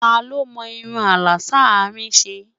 tá ló mò irún àlà s'arin ṣé?